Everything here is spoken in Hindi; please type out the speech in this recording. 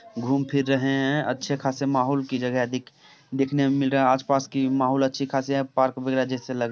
घूम फिर रहे है अच्छे खासे माहोल की जगह दिख दिखने मे मिल रहा हे आस पास की माहोल अच्छी खासी पार्क लग--